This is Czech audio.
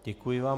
Děkuji vám.